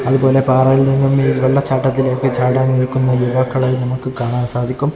അതുപോലെ പാറയിൽ നിന്നുമീ വെള്ളച്ചാട്ടത്തിലേക്ക് ചാടാൻ നിൽക്കുന്ന യുവാക്കളെയും നമുക്ക് കാണാൻ സാധിക്കും.